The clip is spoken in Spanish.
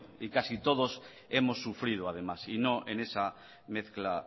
y casi todos hemos sufrido además y no en esa mezcla